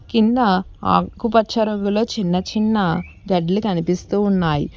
కింద ఆకుపచ్చ రంగులొ చిన్నచిన్న గెడ్లు కనిపిస్తూ ఉన్నాయి.